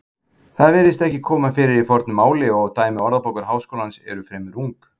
Það virðist ekki koma fyrir í fornu máli og dæmi Orðabókar Háskólans eru fremur ung.